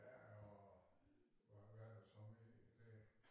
Ja og hvad der så mere derinde